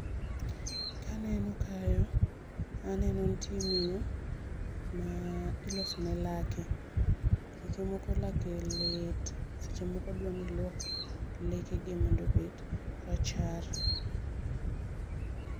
Kaneno kayo aneno nitie miyo ma ilosone lake. Seche moko lake lit, seche moko odwani oluok lekege mondo obed rachar